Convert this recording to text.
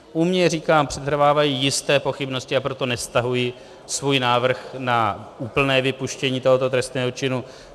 U mě, říkám, přetrvávají jisté pochybnosti, a proto nestahuji svůj návrh na úplné vypuštění tohoto trestného činu.